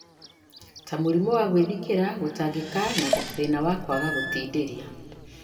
ta mũrimũ wa gwĩthikĩra, gũtangĩka, na thĩna wa kwaga gũtindĩria.